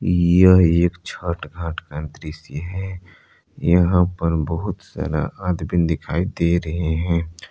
यह एक छठ घाट का दृश्य है यहां पर बहुत सारा आदमी दिखाई दे रहे हैं।